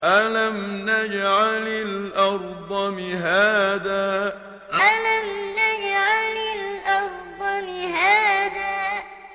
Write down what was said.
أَلَمْ نَجْعَلِ الْأَرْضَ مِهَادًا أَلَمْ نَجْعَلِ الْأَرْضَ مِهَادًا